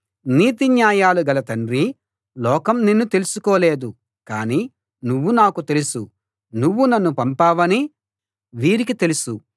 నీతిన్యాయాలు గల తండ్రీ లోకం నిన్ను తెలుసుకోలేదు కాని నువ్వు నాకు తెలుసు నువ్వు నన్ను పంపావని వీరికి తెలుసు